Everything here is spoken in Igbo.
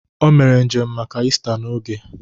O mere njem maka Ista n'oge